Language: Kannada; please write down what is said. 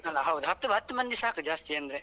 ಅಲ ಹೌದು ಹತ್ತು ಹತ್ತು ಮಂದಿ ಸಾಕು ಜಾಸ್ತಿ ಅಂದ್ರೆ.